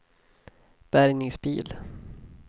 bärgningsbil